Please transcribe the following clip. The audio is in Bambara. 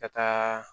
Ka taa